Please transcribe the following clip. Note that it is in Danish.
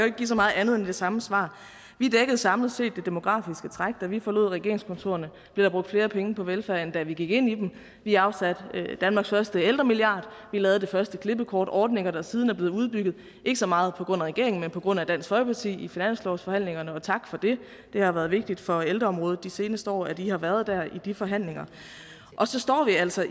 ikke give så meget andet end det samme svar vi dækkede samlet set det demografiske træk da vi forlod regeringskontorerne blev der brugt flere penge på velfærd end da vi gik ind i dem vi afsatte danmarks første ældremilliard vi lavede den første klippekortordning der siden er blevet udbygget ikke så meget på grund af regeringen men på grund af dansk folkeparti i finanslovsforhandlingerne og tak for det det har været vigtigt for ældreområdet de seneste år at i har været der i de forhandlinger og så står vi altså